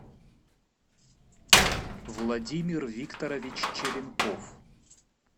владимир викторович черенков